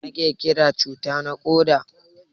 Mai ake Kiran cuta na koda?